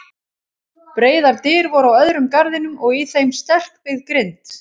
Breiðar dyr voru á öðrum garðinum og í þeim sterkbyggð grind.